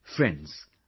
Friends,